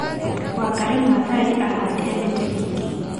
Wangari Maathai aahaandire mĩtĩ mĩingĩ.